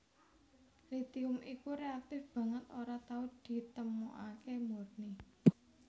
Litium iku reaktif banget ora tau ditemokaké murni